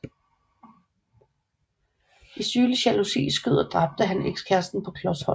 I sygelig jalousi skød og dræbte han ekskæresten på klos hold